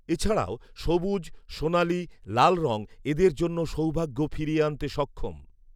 এছাডা়ও সবুজ, সোনালী, লাল রং এঁদের জন্য সৌভাগ্য ফিরিয়ে আনতে সক্ষম